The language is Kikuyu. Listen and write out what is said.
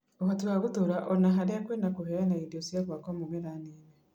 ũhoti wa gũtũra ona harĩa kwĩna kũheana indo cia gwaka mũmera Nini